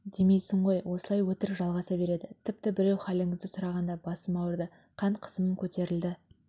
демейсің ғой осылай өтірік жалғаса береді тіпті біреу халіңізді сұрағанда басым ауырды қан қысымым көтерілді